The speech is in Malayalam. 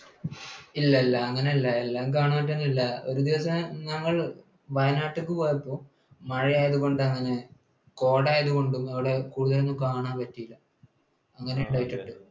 ഇല്ല ഇല്ല അങ്ങനെയല്ല. എല്ലാം കാണാൻ പറ്റണമെന്നില്ല. ഒരു ദിവസം ഞങ്ങൾ വയനാട്ടിലേക്ക് പോയപ്പോൾ മഴ ആയതുകൊണ്ടും കോട ആയതുകൊണ്ടും അവിടെ കൂടുതൽ ഒന്നും കാണാൻ പറ്റിയില്ല. അങ്ങനെ ഉണ്ടായിട്ടുണ്ട്.